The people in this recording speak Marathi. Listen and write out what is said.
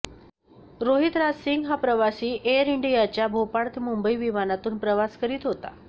रोहित राज सिंग हा प्रवासी एअर इंडियाच्या भोपाळ ते मुंबई विमानातून प्रवास करीत होता